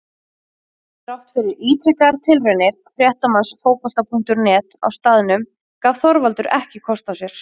Þrátt fyrir ítrekaðar tilraunir fréttamanns Fótbolta.net á staðnum gaf Þorvaldur ekki kost á sér.